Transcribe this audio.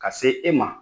Ka se e ma